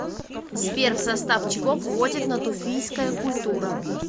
сбер в состав чего входит натуфийская культура